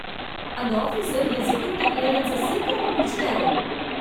அந்த ஆபீசெர், என் security clearance சீக்கிரமா முடிச்சிட்டாரு.